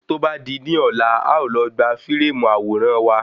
Tó bá di ní ọ̀la, a ó lọ gbà fíréèmù àwòrán wa.